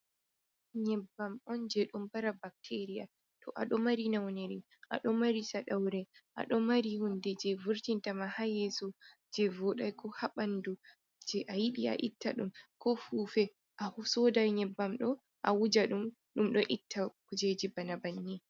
Nyebbam on je don mbara bakteeria, to a ɗo mari nawnere, a ɗo mari saɗawre, a ɗo mari hunde je vurtinta ma ha yeeso je vooɗai, ko ha ɓandu je a yiɗi a itta ɗum, ko fuufe, a sooda nyebbam ɗo a wuja ɗum, ɗum ɗo itta kujeji bana bannii.